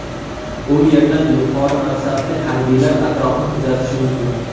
U yerdan yuqori mansabli harbiylar atrofni kuzatishi mumkin.